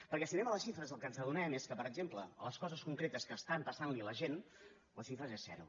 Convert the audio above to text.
perquè si anem a les xifres del que ens adonem és del fet que per exemple en les coses concretes que estan passant a la gent les xifres són zero